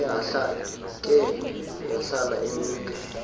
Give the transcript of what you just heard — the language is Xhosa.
ke yahlala imnika